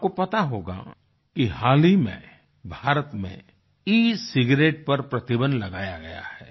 आपको पता होगा कि हाल ही में भारत में एसिगेरेट पर प्रतिबन्ध लगाया गया है